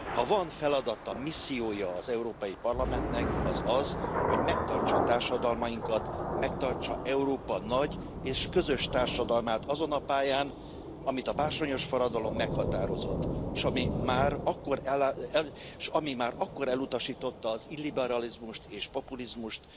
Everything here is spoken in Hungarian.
Ha van feladata, missziója az Európai Parlamentnek, az az, hogy megtartsa társadalmainkat, megtartsa Európa nagy és közös társadalmát azon a pályán, amit a bársonyos forradalom meghatározott, s ami már akkor elutasította az illiberalizmust és populizmust,